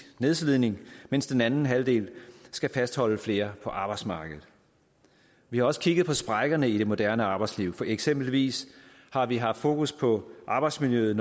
nedslidning mens den anden halvdel skal fastholde flere på arbejdsmarkedet vi har også kigget på sprækkerne i det moderne arbejdsliv eksempelvis har vi haft fokus på arbejdsmiljøet